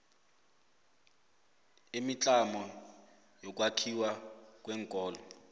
imitlamo yokwakhiwa kweenkolo